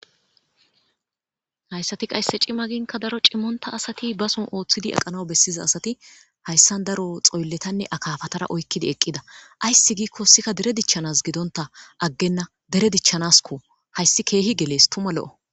Hayssati qasdekka cima giin daro cimmontta asati oothidi aqanaw bessiza asati xoylletnne akaafatara oyqidi eqqida aysdi giikko hessika dere dichanaas gidonta aggenna dere dichanaaskko.hayssi keehi gelees tuma lo7o.